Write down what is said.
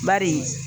Bari